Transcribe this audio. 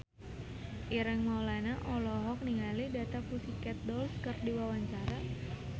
Ireng Maulana olohok ningali The Pussycat Dolls keur diwawancara